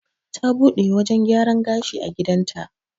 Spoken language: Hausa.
Ta buɗe wajan gyaran gashi a gidan ta